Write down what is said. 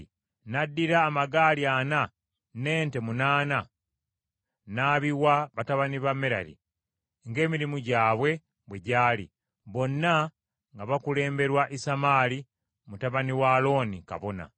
n’addira amagaali ana n’ente munaana n’abiwa batabani ba Merali, ng’emirimu gyabwe bwe gyali; bonna nga bakulemberwa Isamaali mutabani wa Alooni, kabona.